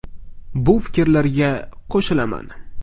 Bu fikrlarga qo‘shilaman.